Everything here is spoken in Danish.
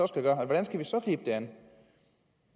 skal lave hvordan skal vi så gribe det an